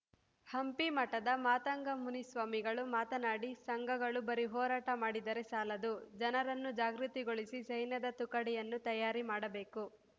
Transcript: ಹಂಪಿ ಮಠದ ಮಾತಂಗ ಮುನಿ ಸ್ವಾಮಿಗಳು ಮಾತನಾಡಿ ಸಂಘಗಳು ಬರಿ ಹೋರಾಟ ಮಾಡಿದರೇ ಸಾಲದು ಜನರನ್ನು ಜಾಗೃತಿಗೊಳಿಸಿ ಸೈನ್ಯದ ತುಕಡಿಯನ್ನು ತಯಾರಿ ಮಾಡಬೇಕು